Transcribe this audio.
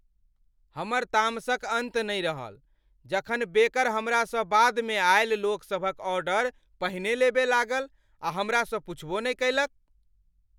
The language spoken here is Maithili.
हमर तामसक अन्त नहि रहल जखन बेकर हमरासँ बादमे अयल लोक सभक ऑर्डर पहिने लेलक लागल आ हमरासँ पुछबो नहि कयलक।